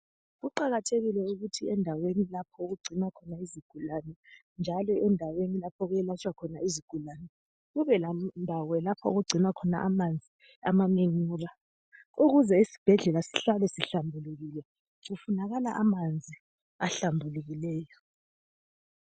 Kuqakathekile ukuthi endaweni lapho okugcinwa khona izigulane njalo endaweni lapha okwelatshwa izigulane kube lendawo lapha okugcinwa khona amanzi amanengi. Ngoba ukuze isibhedlela sihlale sihlanzekile kufunakala amanzi ahlambulukileyo.